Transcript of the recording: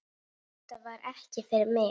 Þetta var ekki fyrir mig